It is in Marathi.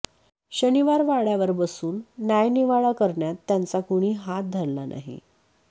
शनिवारवाड्यावर बसून न्यायनिवाडा करण्यात त्यांचा कुणी हात धरला नाही